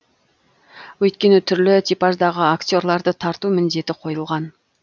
өйткені түрлі типаждағы актерларды тарту міндеті қойылған